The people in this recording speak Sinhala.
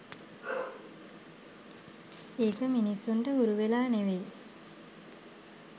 ඒක මිනිස්සුන්ට හුරු වෙලා ‍නෙවෙයි.